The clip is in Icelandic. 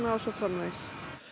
og svo framvegis